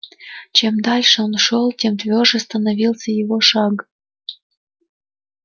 чем дальше он шёл тем твёрже становился его шаг